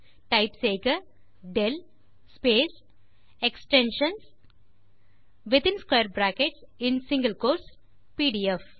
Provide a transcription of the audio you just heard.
type செய்க del space extensions within square brackets மற்றும் single quotes PDF